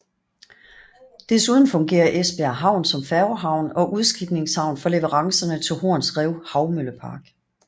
Desuden fungerer Esbjerg Havn som færgehavn og udskibningshavn for leverancerne til Horns Rev Havmøllepark